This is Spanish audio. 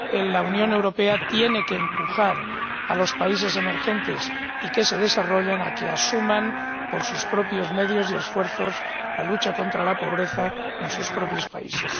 La Unión Europea tiene que empujar a los países emergentes y que se desarrollan a que asuman, por sus propios medios y esfuerzos, la lucha contra la pobreza en sus propios países.